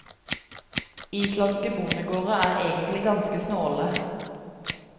Islandske bondegårder er egentlig ganske snåle.